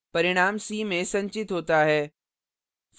परिणाम c में संचित होता है